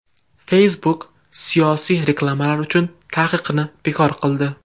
Facebook siyosiy reklamalar uchun taqiqni bekor qildi.